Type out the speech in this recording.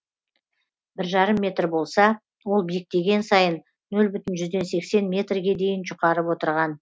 бір жарым метр болса ол биіктеген сайын нөл бүтін жүзден сексен метрге дейін жұқарып отырған